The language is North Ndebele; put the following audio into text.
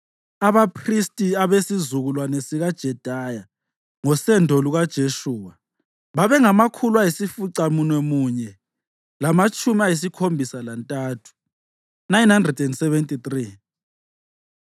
Abaphristi: abesizukulwane sikaJedaya (ngosendo lukaJeshuwa) babengamakhulu ayisificamunwemunye lamatshumi ayisikhombisa lantathu (973),